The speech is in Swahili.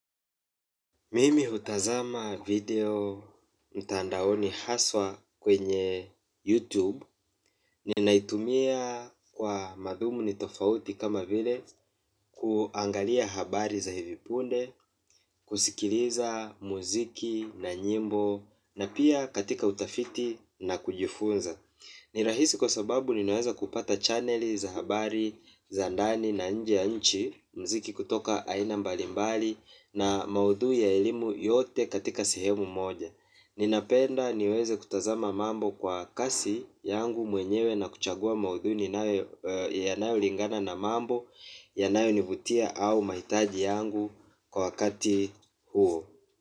Mimi utazama video mtandaoni haswa kwenye YouTube. Ninaitumia kwa madhumuni tofauti kama vile kuangalia habari za hivipunde, kusikiliza muziki na nyimbo. Na pia katika utafiti na kujifunza. Ni rahisi kwa sababu ninaweza kupata channeli za habari, za ndani na nje ya nchi mziki kutoka aina mbalimbali na maudhui ya elimu yote katika sehemu moja. Ninapenda niweze kutazama mambo kwa kasi yangu mwenyewe na kuchagua maudhui yanayo lingana na mambo yanayonivutia au maitaji yangu kwa wakati huo.